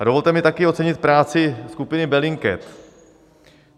A dovolte mi taky ocenit práci skupiny Bellingcat.